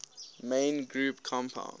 main group compounds